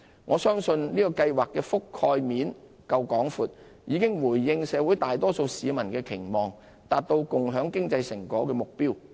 我相信這計劃涵蓋面足夠廣闊，已回應社會大多數市民的期望，達到共享經濟成果的目標。